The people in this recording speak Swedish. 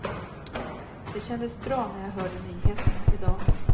Det kändes bra när jag hörde nyheterna i dag.